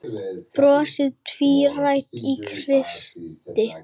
Brosið tvírætt á Kristi.